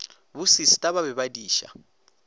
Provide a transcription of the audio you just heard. bosista ba be ba diša